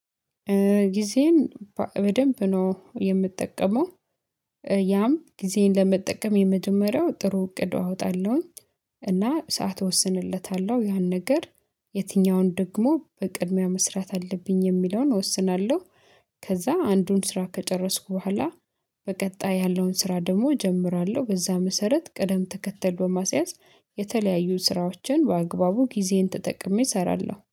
ጊዜን በደንብ ነው የምጠቀመው። ያም ጊዜን ለመጠቀም የመጀመሪያው ጥሩ እቅድ አወጣለሁኝ። እና ሰዓት እወስንለታለሁ ያን ነገር የትኛውን ደግሞ በቅድሚያ መስራት አለብኝ የሚለውን እወስናለሁ። ከዛ አንዱን ስራ ከጨረስኩ በኋላ በቀጣይ ያለውን ስራ ደግሞ እጀምራለሁ በዛ መሰረት ቀደም ተከተል በማስያዝ የተለያዩ ስራዎችን በአግባቡ ጊዜን ተጠቅሜ እሰራለሁ